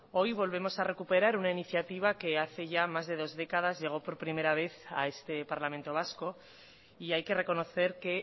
hoy volvemos a recuperar una iniciativa que hace ya más de dos décadas llegó por primera vez a este parlamento vasco y hay que reconocer que